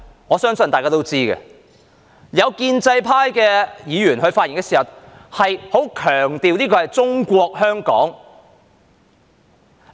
我相信大家都知道，有建制派議員發言時，十分強調這是"中國香港"。